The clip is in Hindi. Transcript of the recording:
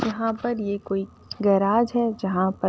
यहाँ पर ये कोई गैराज है जहाँ पर --